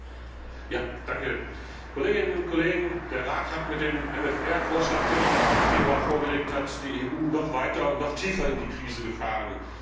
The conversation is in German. Herr Präsident, liebe Kolleginnen und Kollegen! Der Rat hat mit dem MFR Vorschlag, den er am 8. Februar vorgelegt hat, die EU noch weiter und noch tiefer in die Krise gefahren.